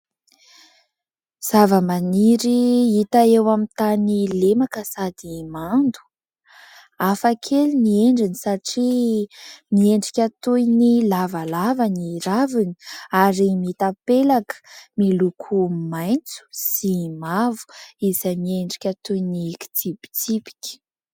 Zavamaniry hita eo amin'ny tany lemaka sady mando. Hafakely ny endriny satria miendrika toy ny lavalava ny raviny ary mitapelaka miloko maitso sy mavo izay miendrika toy ny kitsipitsipika.